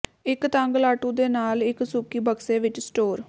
ਇੱਕ ਤੰਗ ਲਾਟੂ ਦੇ ਨਾਲ ਇੱਕ ਸੁੱਕੀ ਬਕਸੇ ਵਿੱਚ ਸਟੋਰ